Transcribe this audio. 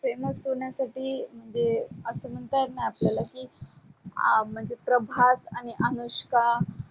famous होण्यासाठी म्हणजे अस म्हणता येईल णा आपल्या की अ म्हणजे प्रभास आणि अनुष्का